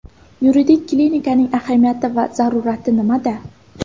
Yuridik klinikaning ahamiyati va zaruriyati nimada?